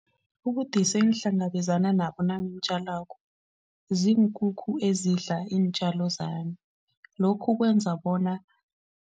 Ubudisi engihlangabezana nabo nangitjalako ziinkukhu ezidla iintjalo zami lokhu kwenza bona.